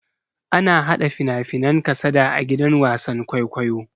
Ana hada fina-finan kasada a gidan wasan kwaikwayo.